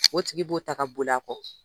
O tigi b'o ta ka bol'a kɔ.